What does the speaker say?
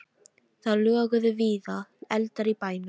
Það loguðu víða eldar í bænum.